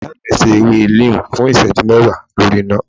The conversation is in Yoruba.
iya mi se èwé Neem fún iseju mewa lorí iná